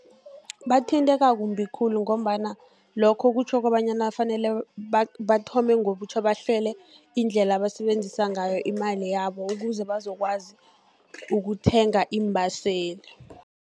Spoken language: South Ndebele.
Bathinteka kumbi khulu, ngombana lokho kutjho kobanyana kufanele bathome ngobutjha, bahlele indlela abasebenzisa ngayo imali yabo, ukuze bazokwazi ukuthenga iimbaseli.